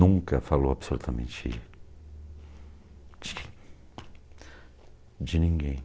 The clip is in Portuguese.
Nunca falou absolutamente de de ninguém.